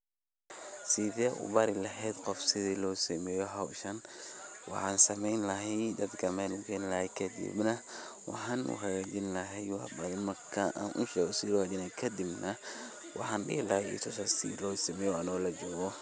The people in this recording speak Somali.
Sethe ubari laheet Qoof sethi lo sameeyoh hooshan, waxan sameeyni lahay dadka meel gayn lahay kadib nah waxa u hagajeen lahay waxba marka kadib sethi lohagajeen lahay kadib waxan dehi lahay I tuusa sethi lo sameeyoh Anika oo lajokoh, .